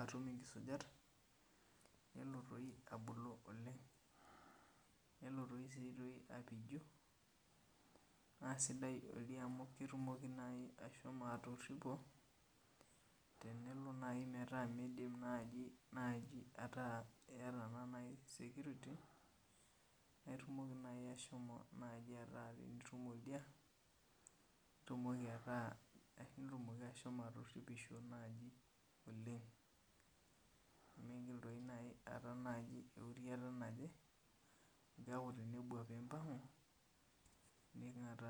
atum inkisujat, nelo toi abulu oleng. Nelo si toi apiju, na sidai oldia amu ketumoki nai ashomo atorripo, tenelo nai metaa midim nai ataa keeta na nai security ,na itumoki nai ashomo naji ataa itum oldia, nitumoki ataa ashomo atorripisho naji oleng. Nimigil toi nai aata nai euriata naje, neeku tenebuak pimpang'u, ning'ataa.